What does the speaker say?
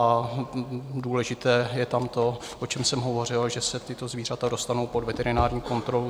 A důležité je tam to, o čem jsem hovořil, že se tato zvířata dostanou pod veterinární kontrolu.